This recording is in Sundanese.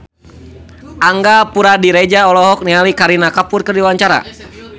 Angga Puradiredja olohok ningali Kareena Kapoor keur diwawancara